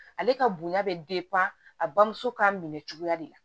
Ale ka bonya bɛ a bamuso ka minɛ cogoya de la